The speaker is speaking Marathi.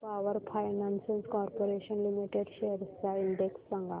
power finance corporation limited shares चा इंडेक्स सांगा